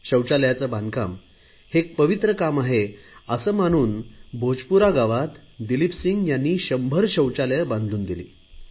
शौचालयाचे बांधकाम हे एक पवित्र काम आहे असे मानून भोजपुरा गावात दिलीपसिंह यांनी शंभर शौचालये बांधून दिली